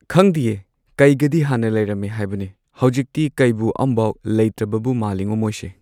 ꯈꯪꯗꯤꯌꯦ ꯀꯩꯒꯗꯤ ꯍꯥꯟꯅ ꯂꯩꯔꯝꯃꯦ ꯍꯥꯏꯕꯅꯦ ꯍꯧꯖꯤꯛꯇꯤ ꯀꯩꯕꯨ ꯑꯃꯕꯧ ꯂꯩꯇ꯭ꯔꯕꯕꯨ ꯃꯥꯂꯤꯉꯣ ꯃꯣꯏꯁꯦ꯫